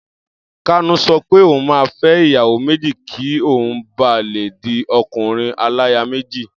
Kanu sọ pé òun máa fẹ́ ìyàwó méjì kí òun ba lè di ọkùnrin-aláya-méjì.